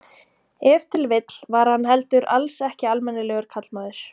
Ef til vill var hann heldur alls ekki almennilegur karlmaður.